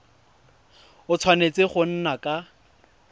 a tshwanetse go nna ka